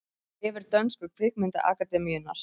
Vefur dönsku kvikmyndaakademíunnar